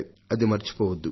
అది మరిచిపోవద్దు